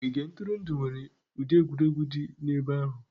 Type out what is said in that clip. Ogige ntụrụndụ nwere ụdị egwuregwu dị n'ebe ahụ.